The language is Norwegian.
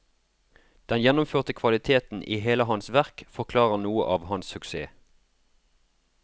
Den gjennomførte kvaliteten i hele hans verk forklarer noe av hans suksess.